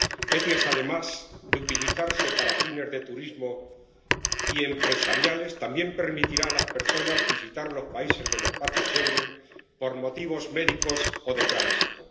El SEIAV, además de utilizarse para fines de turismo y empresariales, también permitirá a las personas visitar los países del espacio Schengen por motivos médicos o de tránsito.